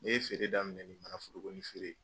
N ye feere daminɛ ni manaforoko feere ye